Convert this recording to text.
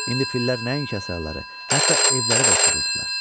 İndi fillər nəinki əsərləri, hətta evləri də uçururdular.